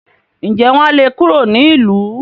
ǹjẹ́ wọn á le kúrò nílùú?